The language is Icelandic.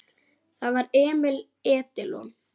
Það var Emil Edilon.